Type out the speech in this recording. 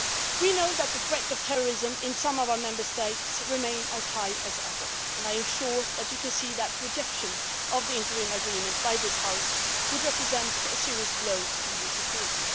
We know that the threat of terrorism in some of our Member States remains as high as ever, and I am sure that you can see that rejection of the interim agreement by this House would represent a serious blow to EU security.